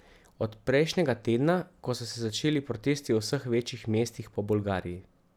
Od prejšnjega tedna, ko so se začeli protesti v vseh večjih mestih po Bolgariji.